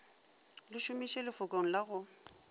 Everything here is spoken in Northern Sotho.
le šomiše lefokong la go